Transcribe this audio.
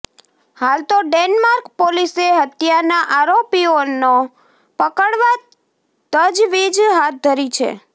હાલ તો ડેન્માર્ક પોલીસે હત્યાના આરોપીઓનો પકડવા તજવીજ હાથ ધરી છે